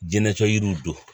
Jinɛ tɔ yiriw don